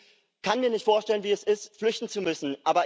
Ich kann mir nicht vorstellen, wie es ist, flüchten zu müssen.